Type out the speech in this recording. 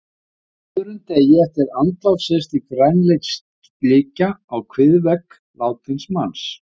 Á öðrum degi eftir andlát sést því grænleit slikja á kviðvegg látins manns.